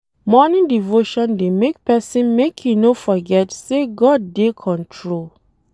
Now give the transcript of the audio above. Morning devotion dey make pesin make e no forget say God dey control.